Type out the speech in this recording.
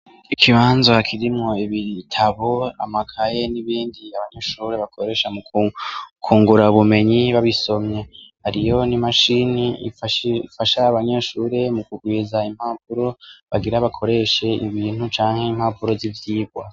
Ikibanza hakirimwo ibitabo amakaye n'ibindi abanyeshure bakoresha mu kungura bumenyi babisomye aliyoni i mashini ifasha abanyeshure mu kugwiza impavuro bagira bakoreshe ibintu canke impavuro z'ivyibwa.